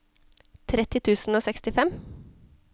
tretti tusen og sekstifem